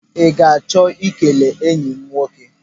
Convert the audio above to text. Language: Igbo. I ga-achọ ikele enyi m nwoke?